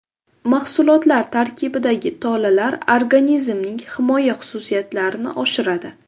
Mahsulotlar tarkibidagi tolalar organizmning himoya xususiyatlarini oshiradi.